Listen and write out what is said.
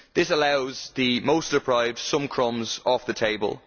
This allows the most deprived some crumbs off the table.